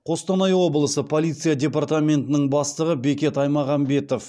қостанай облысы полиция департаментінің бастығы бекет аймағамбетов